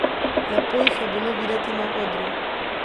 Lepo jih je bilo videti na odru.